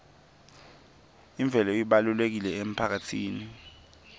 imvelo ibalulekile emphakatsini